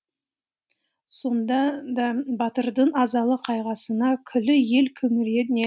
сонда да батырдың азалы қайғысына күллі ел күңірене